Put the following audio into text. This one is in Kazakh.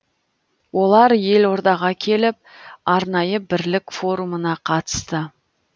олар елордаға келіп арнайы бірлік форумына қатысты